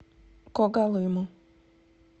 когалыму